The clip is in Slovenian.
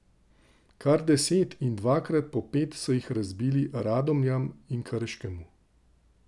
Kar deset in dvakrat po pet so jih zabili Radomljam in Krškemu.